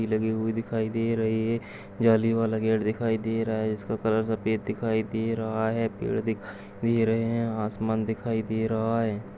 ये लगे हुए दिखाई दे रहे हैं जाली वाला गेट दिखाई दे रहा है जिसका कलर सफेद दिखाई दे रहा है पेड़ दिखाई दे रहें हैं आसमान दिखाई दे रहा है।